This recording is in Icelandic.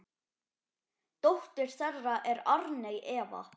Dóttir þeirra er Arney Eva.